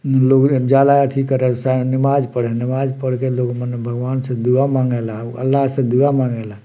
एमे लोग जाला एथी करे नमाज़ पढ़े नमाज़ पढ़ के लोग मने भगवान से दुआ मंगेला अल्लाह से दुआ मांगेला।